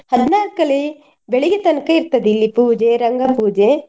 ಹದ್ನಾಲ್ಕಲಿ ಬೆಳಿಗ್ಗೆ ತನ್ಕ ಇರ್ತದೆ ಇಲ್ಲಿ ಪೂಜೆ ರಂಗ ಪೂಜೆ.